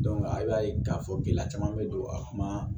a b'a ye k'a fɔ gɛlɛya caman bɛ don a kɔnɔ